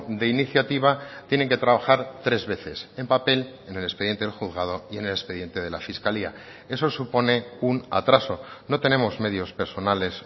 de iniciativa tienen que trabajar tres veces en papel en el expediente del juzgado y en el expediente de la fiscalía eso supone un atraso no tenemos medios personales